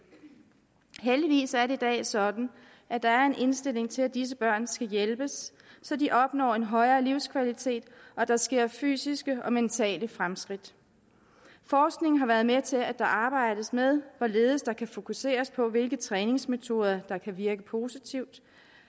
heldigvis er det i dag sådan at der er en indstilling til at disse børn skal hjælpes så de opnår en højere livskvalitet og der sker fysiske og mentale fremskridt forskningen har været med til at der arbejdes med hvorledes der kan fokuseres på hvilke træningsmetoder der kan virke positivt